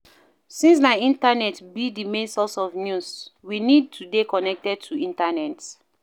Since na internet be di main source of news, we need to dey connected to internet